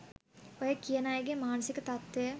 ඔය කියන අයගෙ මානසික තත්ත්වය